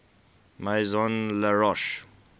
maison la roche